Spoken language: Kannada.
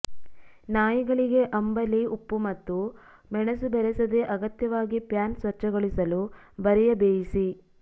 ನಾಯಿಗಳಿಗೆ ಅಂಬಲಿ ಉಪ್ಪು ಮತ್ತು ಮೆಣಸು ಬೆರೆಸದೇ ಅಗತ್ಯವಾಗಿ ಪ್ಯಾನ್ ಸ್ವಚ್ಛಗೊಳಿಸಲು ಬರಿಯ ಬೇಯಿಸಿ